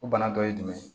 O bana dɔ ye jumɛn ye